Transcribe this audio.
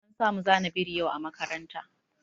An samu zana biri yau a makaranta.